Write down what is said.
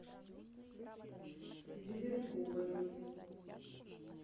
зеленковой